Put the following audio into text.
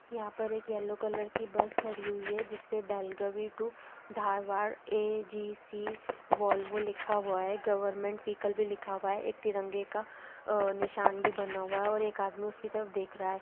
यहाँ पर एक येलो कलर की बस खड़ी हुई है जिसपे Belagavi to Dharwad AGC Volvo लिखा हुआ हैगवर्नमेंट वीइकल भी लिखा हुआ है एक तिरंगे का अ-निशान भी बन हुआ है और एक आदमी उसकी तरफ देख रहा है।